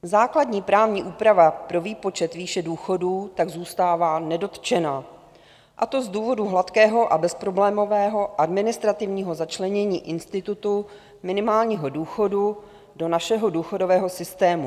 Základní právní úprava pro výpočet výše důchodů tak zůstává nedotčena, a to z důvodu hladkého a bezproblémového administrativního začlenění institutu minimálního důchodu do našeho důchodového systému.